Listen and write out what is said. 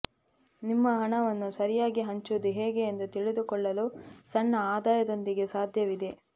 ನಿಮ್ಮ ಹಣವನ್ನು ಸರಿಯಾಗಿ ಹಂಚುವುದು ಹೇಗೆ ಎಂದು ತಿಳಿದುಕೊಳ್ಳಲು ಸಣ್ಣ ಆದಾಯದೊಂದಿಗೆ ಸಾಧ್ಯವಿದೆ